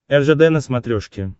ржд на смотрешке